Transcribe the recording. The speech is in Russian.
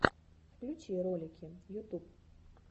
включи ролики ютуб